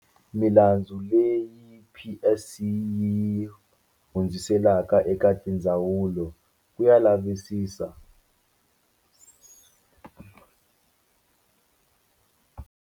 Milandzu leyi PSC yi yi hundziselaka eka tindzawulo ku ya lavisisiwa.